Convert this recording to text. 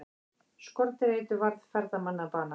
Skordýraeitur varð ferðamanni að bana